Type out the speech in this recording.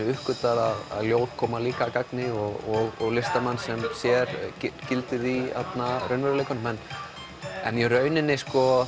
uppgötvað að ljóð koma líka að gagni og listamann sem sér gildi í raunveruleikanum en í rauninni